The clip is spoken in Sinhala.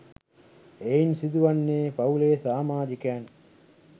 එයින් සිදු වන්නේ පවුලේ සාමාජිකයන්